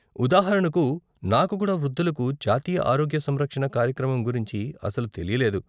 ఉదాహరణకు, నాకు కూడా వృద్ధులకు జాతీయ ఆరోగ్య సంరక్షణ కార్యక్రమం గురించి అసలు తెలీలేదు.